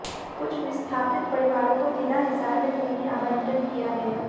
कुछ विस्थापित परिवारों को जिला हिसार में भूमि आबंटन किया गया